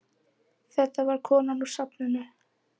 Þetta var konan úr safninu.